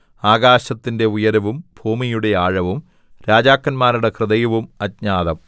ആകാശത്തിന്റെ ഉയരവും ഭൂമിയുടെ ആഴവും രാജാക്കന്മാരുടെ ഹൃദയവും അജ്ഞാതം